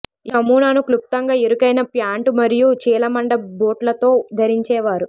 ఈ నమూనాను క్లుప్తంగా ఇరుకైన ప్యాంటు మరియు చీలమండ బూట్లతో ధరించేవారు